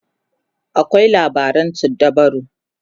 akwai labaran suddabaru